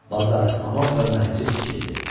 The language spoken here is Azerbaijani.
Bazar, hamam və məscid tikildi.